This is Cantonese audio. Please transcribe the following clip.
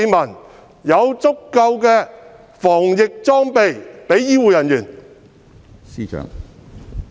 何時才有足夠的防疫裝備給醫護人員？